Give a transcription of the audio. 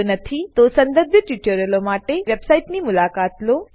જો નથી તો સંબંધિત ટ્યુટોરીયલો માટે અમારી વેબસાઇટની મુલાકાત લો